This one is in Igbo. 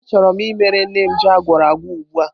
Achọrọ m imere nne m ji agwuoragwo ugbu a.